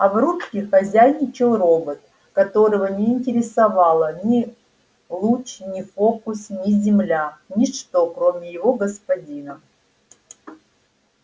а в рубке хозяйничал робот которого не интересовало ни луч ни фокус ни земля ничто кроме его господина